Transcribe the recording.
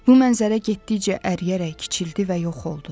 Bu mənzərə getdikcə əriyərək kiçildi və yox oldu.